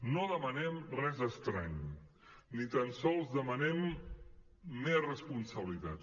no demanem res estrany ni tan sols demanem més responsabilitats